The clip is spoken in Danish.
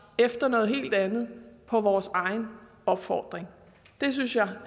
efter noget helt andet på vores egen opfordring det synes jeg